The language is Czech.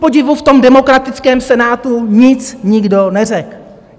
Kupodivu v tom demokratickém Senátu nic nikdo neřekl.